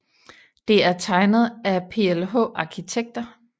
Det er tegnet af PLH Arkitekter